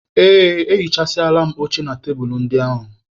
Ee, ehichasịala m oche na tebulu ndị ahụ.